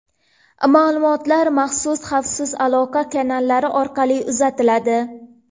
Ma’lumotlar maxsus xavfsiz aloqa kanallari orqali uzatiladi.